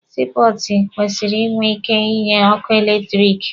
Sii pọọtụ kwesịrị ịnwe ịke ịnye ọkụ eletirisiti.